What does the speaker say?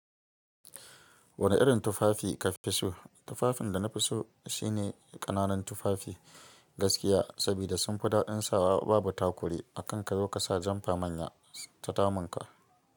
Wane irin tufafi ka fi so? Tufafin da na fi so shine ƙananan tufafi gaskiya, sabida sun fi daɗin sawa, babu takuri a kan ka zo ka sa janfa manya suyi ta damunka.